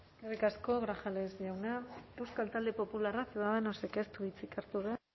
eskerrik asko grajales jauna euskal talde popularra ciudadanosek ez du hitzik hartu